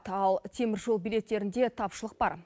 ал теміржол билеттерінде тапшылық бар